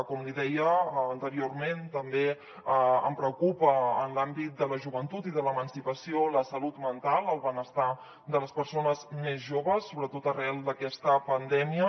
com li deia anteriorment també em preocupa en l’àmbit de la joventut i de l’emancipació la salut mental el benestar de les persones més joves sobretot arran d’aquesta pandèmia